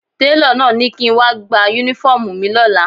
Télọ̀ náà ni kí n wá gba Únífọ́ọ̀mù mi lọ́la